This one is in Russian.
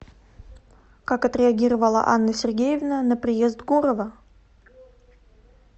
как отреагировала анна сергеевна на приезд гурова